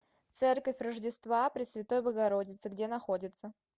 церковь рождества пресвятой богородицы где находится